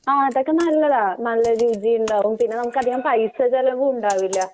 ആഹ് അതൊക്കെ നല്ലതാ. നല്ല രീതിയിൽ ഉണ്ടാവും.പിന്നെ നമുക്കധികം പൈസ ചെലവും ഉണ്ടാവില്ല.